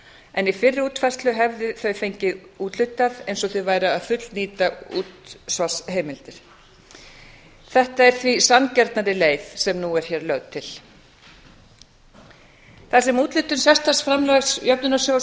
en í fyrri útfærslu hefðu þau fengið úthlutað eins og þau væru að fullnýta útsvarsheimildir þetta er því sanngjarnari leið sem nú er hér lögð til þar sem úthlutun sérstaks framlags jöfnunarsjóðs